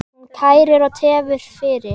Hún kærir og tefur fyrir.